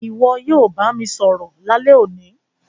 Ìwo yio bá mi sọ̀rọ̀ lálẹ́ òní